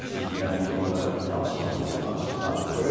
Yəni ki, mən indi onu da danışmırdım, amma danışacam biraz.